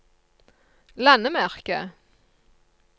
landemerke